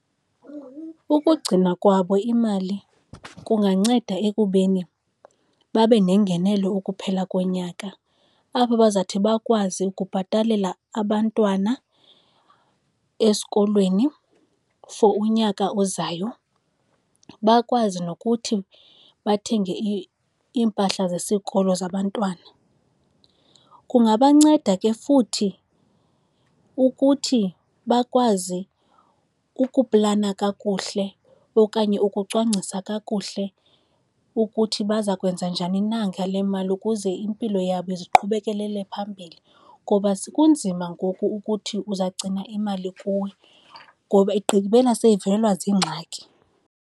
Ukugcina kwabo imali kunganceda ekubeni babe nengenelo ukuphela konyaka apho bazathi bakwazi ukubhatalela abantwana esikolweni for unyaka ozayo. Bakwazi nokuthi bathenge iimpahla zesikolo zabantwana. Kungabanceda ke futhi ukuthi bakwazi ukuplana kakuhle okanye ukucwangcisa kakuhle ukuthi baza kwenza njani na ngale mali, ukuze impilo yabo iziqhubekelele phambili, ngoba kunzima ngoku ukuthi uzagcina imali kuwe ngoba igqibela seyivelelwa ziingxaki.